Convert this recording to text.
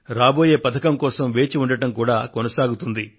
రాబోయే పథకం కోసం వేచి ఉండటం కూడా కొనసాగుతుంది